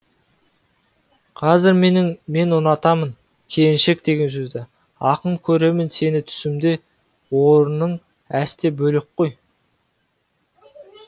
қазір мен ұнатамын келіншек деген сөзді ақын көремін сені түсімде орының әсте бөлек қой